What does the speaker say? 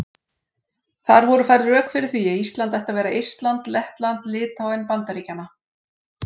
Þar voru færð rök fyrir því að Ísland ætti að vera Eistland Lettland Litháen Bandaríkjanna.